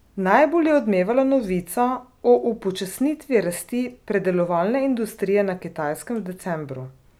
Najbolj je odmevala novica o upočasnitvi rasti predelovalne industrije na Kitajskem v decembru.